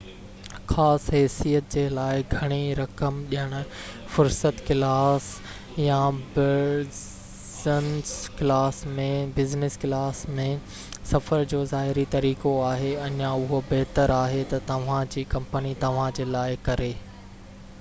خاص حيثيت جي لاءِ گهڻي رقم ڏيڻ فرسٽ ڪلاس يا بزنس ڪلاس ۾ سفر جو ظاهري طريقو آهي اڃا اهو بهتر آهي، تہ توهان جي ڪمپني توهان جي لاءِ ڪري